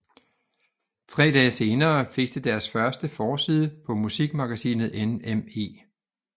Tre dage senere fik de deres første forside på musikmagasinet NME